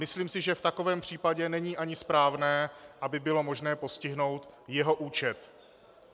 Myslím si, že v takovém případě není ani správné, aby bylo možné postihnout jeho účet.